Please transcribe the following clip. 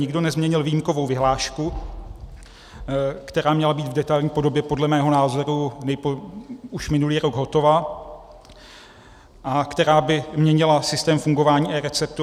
Nikdo nezměnil výjimkovou vyhlášku, která měla být v detailní podobě podle mého názoru už minulý rok hotova a která by měnila systém fungování eReceptu.